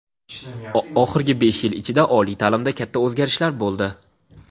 oxirgi besh yil ichida oliy ta’limda katta o‘zgarishlar bo‘ldi.